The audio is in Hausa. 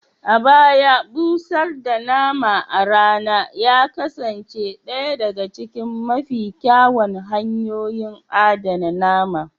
A baya, busar da nama a rana ya kasance ɗaya daga cikin mafi kyawun hanyoyin adana nama